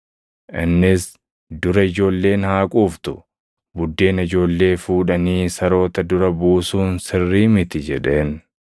Innis, “Dura ijoolleen haa quuftu; buddeena ijoollee fuudhanii saroota dura buusuun sirrii miti” jedheen.